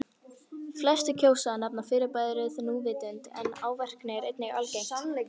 Flestir kjósa að nefna fyrirbærið núvitund en árvekni er einnig algengt.